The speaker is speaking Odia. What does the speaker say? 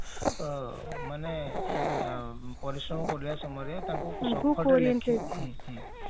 ମାନେ ପରିଶ୍ରମ କରିବା ସମୟରେ ତାଙ୍କୁ ହଁ ହଁ